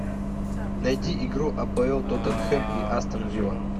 найди игру апл тоттенхэм и астон вилла